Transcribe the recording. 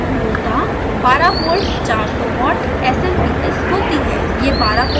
power supply मूलतः 12v 400 watt smps होती है